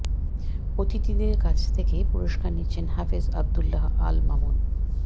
অতিথিদের কাছে থেকে পুরস্কার নিচ্ছেন হাফেজ আবদুল্লাহ আল মামুন